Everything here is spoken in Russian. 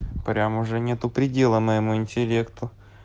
прям уже нету предела моему интеллекту